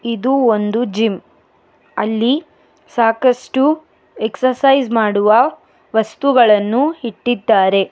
ಇದು ಒಂದು ಜಿಮ್ ಅಲ್ಲಿ ಸಾಕಷ್ಟು ಎಕ್ಸಸೈಜ್ ಮಾಡುವ ವಸ್ತುಗಳನ್ನು ಇಟ್ಟಿದ್ದಾರೆ.